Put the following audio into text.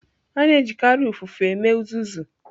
A na-ejikarị ụfụfụ eme uzuzu.